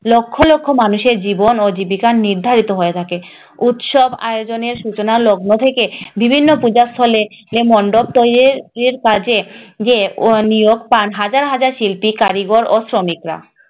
লক্ষ লক্ষ মানুষের জীবন ও জীবিকা নির্ধারিত হয়ে থাকে উৎসব আয়োজনের সূচনা লগ্ন থেকে বিভিন্ন পূজাস্থলে মন্ডপ তৈরীর কাজে নিয়োগ পান হাজার হাজার শিল্পী, কারিগর ও শ্রমিকেরা।